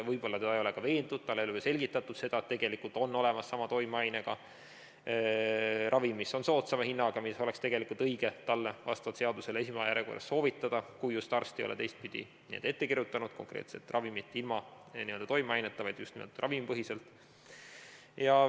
Võib-olla teda ei ole ka veendud, talle ei ole selgitatud, et on olemas sama toimeainega ravim, mis on soodsama hinnaga, mida oleks tegelikult õige talle vastavalt seadusele esmajärjekorras soovitada, kui just arst ei ole välja kirjutanud konkreetset ravimit ilma toimeaineta, just nimelt ravimipõhiselt.